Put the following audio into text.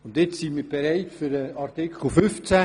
Jetzt sind wir für den Artikel 15 bereit.